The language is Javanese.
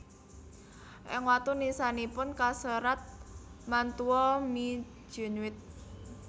Ing watu nisanipun kaserat Mantua me genuit